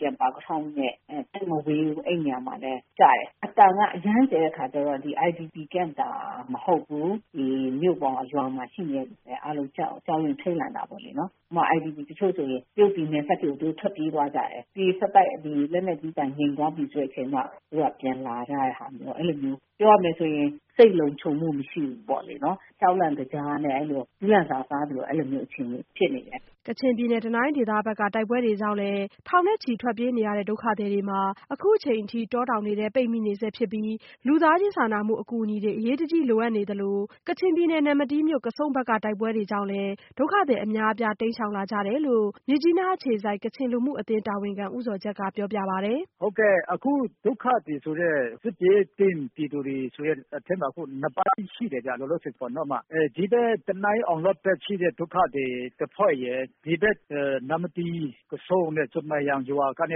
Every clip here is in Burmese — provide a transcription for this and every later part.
တဲ့ ပါကထောင်နဲ့ သိပ်မဝေးဘူး အဲ့ဒီ့နေရာမှာလည်း ကျတယ်။ အသံက အရမ်းကျယ်တဲ့အခါကျတော့ IPD ကမ့်တောင် မဟုတ်ဘူး။ ဒီမြို့ရော ရွာမှာ ရှိနေတဲ့သူတွေပါ အားလုံးကြောက်ရွံ့ထိတ်လန့်နေကြတာပေါ့လေ။ ဥပမာ တချို့ IDP တွေဆို တရုတ်ပြည်နယ်စပ်အထိ ထွက်ပြေးသွားကြတယ်။ ဆက်တိုက်ကျနေပြီး လက်နက်ကြီးကျည်ကျတဲ့အသံ ငြိမ်သွားပြီဆိုမှ သူတို့ပြန်လာရဲကြတယ်။ အဲ့လိုမျိုးတွေဖြစ်နေတယ်။ ပြောရမယ်ဆိုရင် စိတ်လုံခြုံမှု မရှိဘူးပေါ့လေ။ ကြောက်လန့်တကြားနဲ့ ကျီးလန့်စာစား အဲ့လိုအခြေအနေဖြစ်နေတယ်။" ကချင်ပြည်နယ် တနိုင်းဒေသဘက်က တိုက်ပွဲတွေကြောင့် ထောင်ချီထွက်ပြေးနေကြတဲ့ ဒုက္ခသည်တွေမှာလည်း အခုအချိန်အထိ တောတောင်ထဲပိတ်မိနေဆဲဖြစ်ပြီး လူသားချင်းစာနာမှုအကူညီတွေ အရေးတကြီးလိုအပ်နေသလို ကချင်ပြည်နယ် နမ္မတီးမြို့ ကဆုန့်ဘက်က တိုက်ပွဲတွေကြောင့်လည်း ဒုက္ခသည်တွေ အများအပြား တိမ်းရှောင်လာကြတယ်လို့ မြစ်ကြီးနားအခြေစိုက် ကချင်လူမှုအသင်းတာဝန်ခံ ဦးဇော်ဂျတ်ကပြောပြပါတယ်။ " အခုဒုက္ခသည်ဆိုတဲ့ စစ်ဘေးသင့်ပြည်သူတွေဆိုတဲ့အထဲမှာက အခုက နှစ်ပိုင်းရှိနေတယ်ဗျ လောလောဆယ်ပေါ့နော်။ ဒီဘက် တနိုင်း အောင်လေ့ာဒ် ဒုက္ခသည်ရှိတဲ့တဖွဲ့ရယ်၊ ဒီဘက် နမ္မတီး ကဆုန့် ဆွမ်ပရာရွာ မြ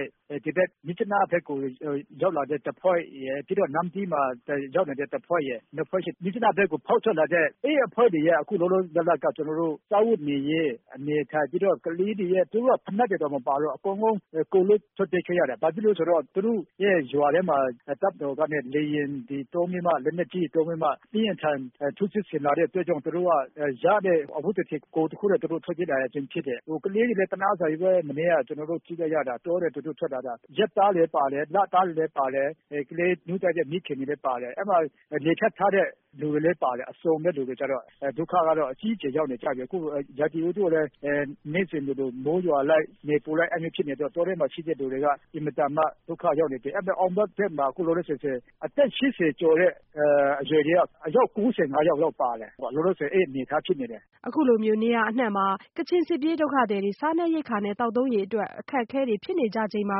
စ်ကြီးနားဘက်ကို ရောက်လာတဲ့ တဖွဲ့ရယ် နမ္မတီးမှာ ရောက်လာတဲ့တဖွဲ့ရယ် နှစ်ဖွဲ့ရှိတယ်။ အဲ့ဒီ့အဖွဲ့တွေထဲက လောလောဆယ် မြစ်ကြီးနားဘက်ကို ဖောက်ထွက်လာတဲ့ အဖွဲ့တွေက လောလောဆယ် စားဝတ်နေရေး ကလေးတွေက ဖိနပ်တွေတောင် မပါဘူး အကုန်လုံး ကိုယ်လွတ်ထွက်ပြေးခဲ့ကြရတယ်။ ဘာဖြစ်လို့လဲဆိုတော့ သူတို့ရဲ့ရွာထဲမှာ တပ်မတော်က လေယာဉ်နဲ့ တွေသုံးပြီးမှ လက်နက်ကြီးတွေသုံးပြီးမှ အပြင်းအထန် ထိုးစစ်ဆင်လာတဲ့အတွက် သူတို့က ရတဲ့ အဝတ်တထည် ကိုယ်တခုနဲ့ သူတို့ ထွက်ပြေးလာရခြင်းဖြစ်တယ်။ ကလေးတွေက အရမ်းသနားဖို့ကောင်းတယ် တောထဲကနေ သူတို့ထွက်လာကြတာ မနေ့က ကျနော်တို့ကြည့်လိုက်ရတာလေ။ ရက်သားလေးတွေလည်းပါတယ် လသားလေးတွေလည်းပါတယ်။ ကလေးနို့တိုက်တဲ့မိခင်တွေလည်းပါတယ်။ အဲ့အထဲမှာ လေဖြတ်ထားတဲ့သူတွေလည်းပါတယ် အစုံပဲ ထွက်ပြေးလာကြတာ။ ဒုက္ခက အကြီးအကျယ်ကို ရောက်ခဲ့ကြတာ။ အခုက ရာသီဥတုကလည်း နေ့စဉ်လိုလို မိုးရွာလိုက် နေပူလိုက် အဲ့လိုမျိုးတွေဖြစ်နေတော့ တောထဲမှာ ရှိနေတဲ့သူတွေက အင်မတန်မှ ဒုက္ခရောက်နေကြတယ်။ အောင်လေ့ာဘက်မှာဆိုရင် အသက် ၈၀ကျော် အရွယ်က အယောက် ၉၅ယောက်လောက်ပါခဲ့တယ်။ လောလောဆယ် အဲ့လိုအနေအထားဖြစ်နေတယ်။" အခုလို နေရာအနှံ့မှာ ကချင်စစ်ပြေးဒုက္ခသည်တွေ စားနပ်ရိက္ခာနဲ့ သောက်သုံးရေအတွက် အခက်အခဲဖြစ်နေချိန်မှာ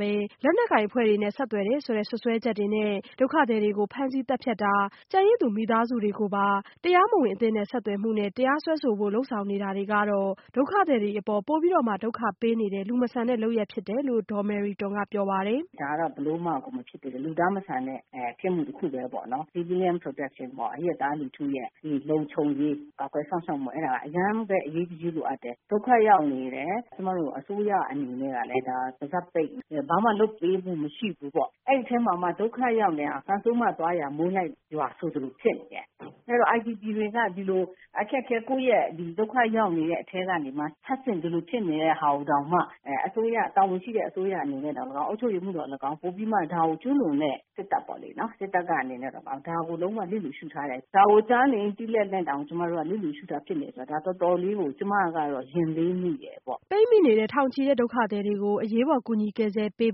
ပဲ လက်နက်ကိုင်အဖွဲ့တွေနဲ့ဆက်သွယ်တယ်ဆိုတဲ့စွပ်စွဲချက်တွေနဲ့ ဒုက္ခသည်တွေကို ဖမ်းဆီးသတ်ဖြတ်တာ ကျန်ရစ်သူမိသားစုတွေကိုပါ တရားစွဲဆိုဖို့လုပ်ဆောင်နေတာတွေကတော့ ဒုက္ခသည်တွေအပေါ် ပိုပြီးတော့မှ ဒုက္ခပေးရာရောက်နေတဲ့ လူမဆန်တဲ့လုပ်ရပ်ဖြစ်တယ် လို့ဒေါ်မေရီတွမ်ကပြောပါတယ်။ " ဒါက ဘယ်လိုမှကို မဖြစ်သင့်တဲ့ လူသားမဆန်တဲ့ ပြစ်မှုတခုပဲပေါ့နော် Civilian Protection ပေါ့ အရပ်သားလူထုရဲ့ လုံခြုံရေးကာကွယ်စောင့်ရှောက်မှုက အရမ်းပဲ အရေးတကြီး လိုအပ်တယ်။ ဒုက္ခရောက်နေတဲ့သူတွေကို ကျမတို့ အစိုးရအနေနဲ့ ပါးစပ်ပိတ်ပြီးတော့ ဘာမှ လုပ်ပေးမှု မရှိဘူး။ ဒုက္ခရောက်နေတဲ့သူတွေကို ကံဆိုးမသွားရာ မိုးလိုက်လို့ရွာဆိုသလို IDP တွေမှာ အခက်အခဲ ဒုက္ခရောက်နေရတဲ့အထဲကနေမှ ထပ်ဆင့် ဒီလိုဖြစ်နေတာကိုတောင်မှ တာဝန်ရှိတဲ့အစိုးရတွေ အုပ်ချုပ်သူတွေ နောက် ကျူးလွန်တဲ့စစ်တပ်ပေါ့လေနော် စစ်တပ်ကနေပြီးတော့ ဒါကို လျစ်လျူရှု့ထားတယ် ဒါကို ကြားနေ သိနေလျက်နဲ့တောင် လျစ်လျူရှု့နေတာဖြစ်တဲ့အတွက် ဒါကို ကျမအနေနဲ့ကတော တော်တော်လေးကို ရင်လေးမိတယ်။" ပိတ်မိနေတဲ့ ထောင်ချီတဲ့ဒုက္ခသည်တွေကို အရေးပေါ်ကူညီကယ်ဆယ်ပေး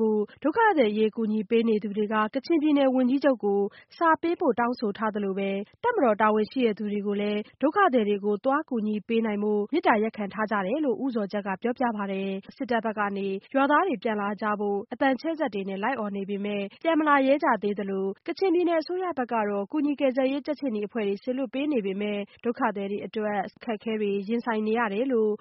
ဖို့ ဒုက္ခသည်အရေးကူညီပေးနေသူတွေက ကချင်ပြည်နယ်ဝန်ကြီးချုပ်ကို စာပေးပို့တောင်းဆိုထားသလို တပ်မတော်တာဝန်ရှိသူတွေကိုလည်း ဒုက္ခသည်တွေကို သွားကူညီပေးနိုင်ဖို့ သွားခွင့်ပြုဖို့ မေတ္တာရပ်ခံထားကြတယ်လို့ သိရပါတယ်။ အခုအချိန်အထိကတော့ တပ်ဘက်ကနေ ရွာသားတွေပြန်လာကြဖို့ အသံချဲ့စက်တွေနဲ့ အော်နေပေမဲ့ ဒေသခံတွေကပြန်မလာရဲကြသေးသလို ကချင်ပြည်နယ်အစိုးရဘက်ကတော့ ကူညီကယ်ဆယ်ရေးကြက်ခြေနီအဖွဲ့တွေ စေလွှတ်ပေးနေပေမဲ့ ဒုက္ခသည်တွေ တွေအတွက် ဆေးဝါး သောက်သုံးရေနဲ့ အစားသောက် အခက်အခဲတွေနဲ့ ရင်ဆိုင်နေရတယ်လို့